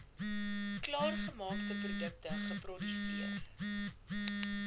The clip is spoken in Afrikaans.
klaargemaakte produkte geproduseer